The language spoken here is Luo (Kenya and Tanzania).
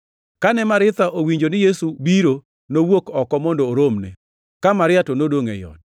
Kane Maritha owinjo ni Yesu biro, nowuok oko mondo oromne, ka Maria to nodongʼ ei ot.